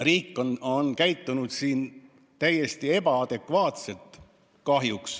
Riik on käitunud siin kahjuks täiesti ebaadekvaatselt.